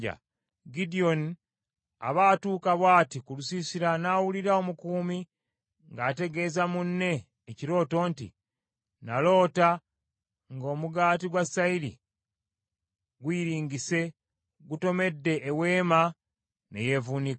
Gidyoni aba atuuka bw’ati ku lusiisira n’awulira omukuumi ng’ategeeza munne ekirooto nti, “Naloota nga omugaati gwa sayiri guyiringise, gutomedde eweema ne yevuunika.”